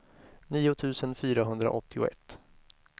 nio tusen fyrahundraåttioett